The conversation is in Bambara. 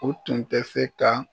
U tun tɛ se ka